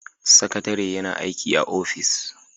Sakatare yana aiki a ofis